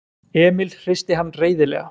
Emil hristi hann reiðilega.